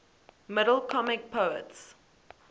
middle comic poets